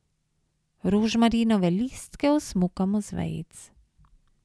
Rožmarinove listke osmukamo z vejic.